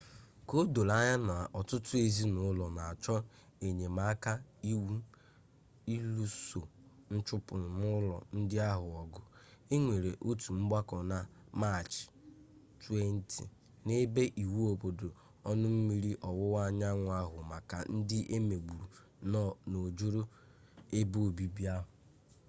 ka o doro anya na ọtụtụ ezinụlo na-achọ enyemaka iwu iluso nchụpụ n'ụlọ ndị ahụ ọgụ e nwere otu ọgbako na maachị 20 n'ebe iwu obodo ọnụ mmiri ọwụwa anyanwu ahụ maka ndị e megburu n'ojoro ebe obibi ahụ